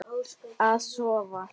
Að sofa.